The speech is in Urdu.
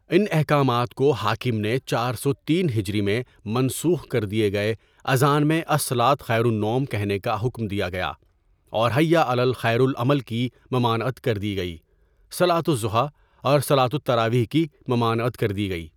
ان احکامات کو حاکم نے چار سو تین ہجری میں منسوخ کر دیے گئے اذان میں الصلوۃ خیر النوم کہنے کا حکم دیا گیا اور حئی علی خیر العمل کی ممانعت کردی گئی صلوۃ الضحیٰ اور صلواۃ التراویح کی ممانعت کردی گئی.